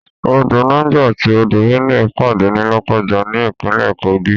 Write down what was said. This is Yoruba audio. Odò Niger àti odò Benue pàdé ní Lọ́kọ́ja ní ìpínlè Kogi.